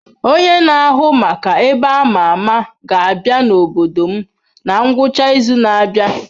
Onye na-ahụ maka ebe a ma ama ga-abịa n'obodo m na ngwụcha izu na-abịa.